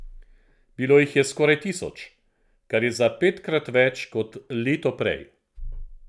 Bilo jih je skoraj tisoč, kar je za petkrat več kot leto prej.